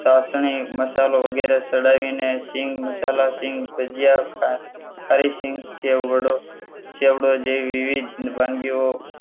ચાસણી મસાલો વગેરે ચડાવીને સિંગ મસાલા સીંગ ભજીયા તથા ખારી સિંગ સેવ વડો ચેવડો વગેરે જેવી વાનગીઓ